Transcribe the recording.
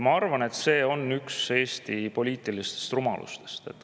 Ma arvan, et see on üks Eesti poliitilistest rumalustest.